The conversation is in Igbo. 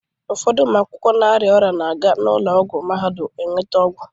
Ụfọdụ ụmụ akwụkwọ na-arịa ọrịa na-aga n'ụlọ ọgwụ Mahadum eweta ọgwụ.